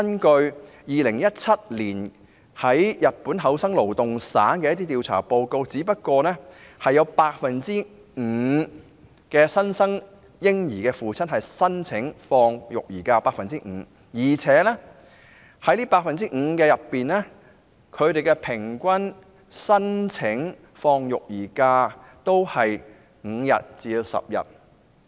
據2017年日本厚生勞動省的調查報告顯示，原來只有 5% 的新生嬰兒父親申請放取育兒假，而且這 5% 當中，他們平均申請放取的育兒假日數為5天至10天。